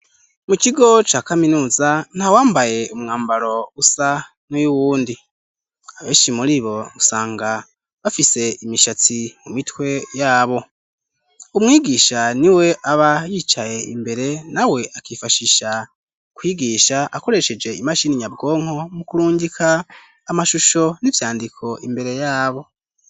Mu kigo ca kaminuza ntawambaye umwambaro usa n'uyuwundi abenshi muribo usanga bafise imishatsi ku mitwe yabo umwigisha niwe aba yicaye imbere na we akifashisha kwigisha akoresheje imashini nyabwonko mu kurungika amashusho n'ivyandiko imbere yabo.